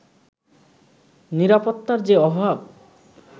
নিরাপত্তার যে অভাব